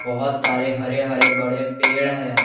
बहुत सारे हरे हरे बड़े पेड़ है।